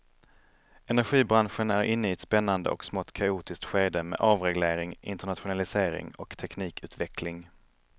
Energibranschen är inne i ett spännande och smått kaotiskt skede med avreglering, internationalisering och teknikutveckling.